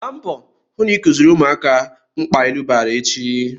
Gba mbọ hụ na ị kuziri ụmụaka mkpa ilu bara echi!